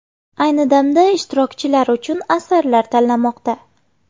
Ayni damda ishtirokchilar uchun asarlar tanlanmoqda.